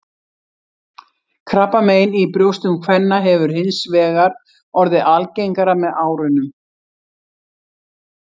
Krabbamein í brjóstum kvenna hefur hins vegar orðið algengara með árunum.